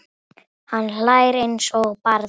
Hann hlær eins og barn.